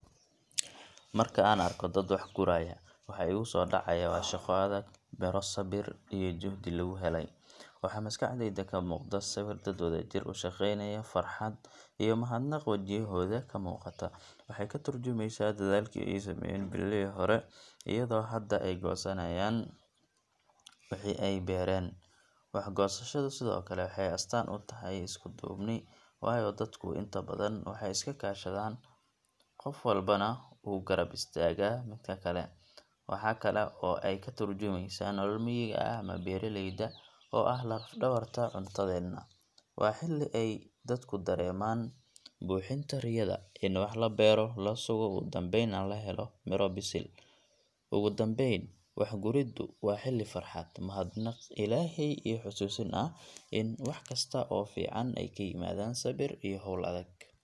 Marka aan arko dad wax guraya, waxa igu soo dhacaya waa shaqo adag, midho sabir iyo juhdi lagu helay. Waxaa maskaxdayda ka muuqda sawir dad wadajir u shaqaynaya, farxad iyo mahadnaq wajiyadooda ka muuqata. Waxay ka tarjumaysaa dadaalkii ay sameeyeen bilihii hore, iyadoo hadda ay goosayaan wixii ay beereen. Wax goosashadu sidoo kale waxay astaan u tahay isku duubni, waayo dadku inta badan waxay iska kaashadaan, qof walbana wuu garab istaagaa midka kale. Waxaa kale oo ay ka tarjumaysaa nolol miyiga ah ama beeraleyda oo ah laf dhabarta cuntadeenna. Waa xilli ay dadku dareemaan buuxinta riyada in wax la beero, la sugo, ugu dambeynna la helo miro bisil. Ugu dambayn, wax guriddu waa xilli farxad, mahadnaq Ilaahay, iyo xasuusin ah in wax kasta oo fiican ay ka yimaadaan sabir iyo hawl adag.